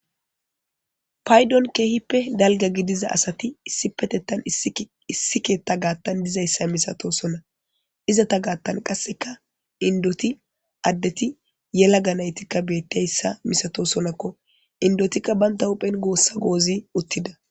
paydon keehippe dalga gidiza asati issi petettan issi keetta gaattan dizayssa misato sonna izata gaattan qasseka indoti addeti yela ganaytikka bettiayssa misato sonakko indotikka baynta huphen goossa goozi uttida